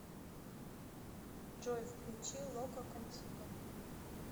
джой включи локо контиго